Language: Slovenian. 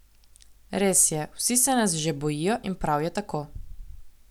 Res je, vsi se nas že bojijo in prav je tako.